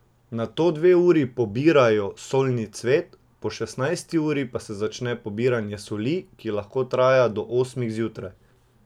Nato dve uri pobirajo solni cvet, po šestnajsti uri pa se začne pobiranja soli, ki lahko traja do osmih zjutraj.